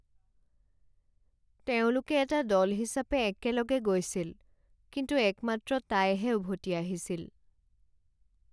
তেওঁলোকে এটা দল হিচাপে একেলগে গৈছিল কিন্তু একমাত্ৰ তাইহে উভতি আহিছিল।